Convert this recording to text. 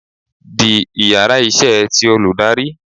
The íyarà iṣẹ tí olùdarí